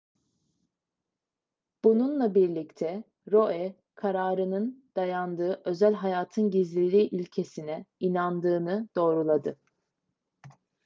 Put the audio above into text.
bununlar birlikte roe kararının dayandığı özel hayatın gizliliği ilkesine inandığını doğruladı